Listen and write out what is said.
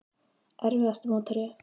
Erfiðasti mótherji?